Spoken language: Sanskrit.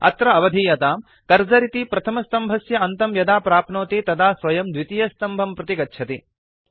अत्र अवधीयताम् कर्सर इति प्रथमस्तम्भस्य अन्तं यदा प्राप्नोति तदा स्वयं द्वितीयस्तम्भं प्रति गच्छति